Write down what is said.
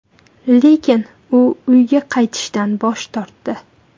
Lekin u uyiga qaytishdan bosh tortdi.